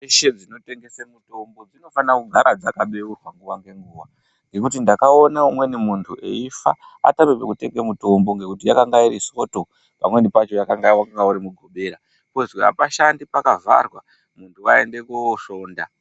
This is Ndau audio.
Ndau dzeshe dzinotengese mitombo dzinofanekugara nguwa ngenguwa ngekuti ndakaona umweni muntu eifa atame kutenga mitombo ngekutiyange iriSondo pozi apashandi pakavharwa, muntu waende koSonda.